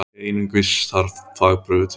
Einungis þarf þvagprufu til.